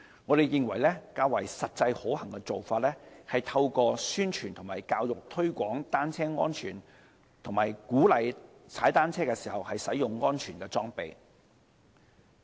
我們認為較為實際可行的做法，是透過宣傳和教育推廣單車安全，以及鼓勵騎單車人士使用安全裝備。